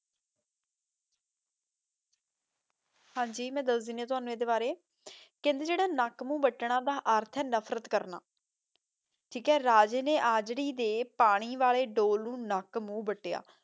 ਹਾਂਜੀ ਮੈਂ ਦਸ ਦੇਣੀ ਆਂ ਤੁਹਾਨੂ ਇਸਦੇ ਬਾਰੇ ਕੇਹ੍ਨ੍ਡੇ ਜੇਰਾ ਨਾਕ ਮੂ ਵਤਨਾ ਦਾ ਅਰਥ ਆਯ ਨਫਰਤ ਕਰਨਾ ਠੀਕ ਆਯ ਰਾਜੇ ਨੇ ਆਜ੍ਰੀ ਦੇ ਪਾਣੀ ਵਾਲੇ ਦੂਲ ਨੂ ਨਾਕ ਮੂਹ ਵਾਤ੍ਯਾ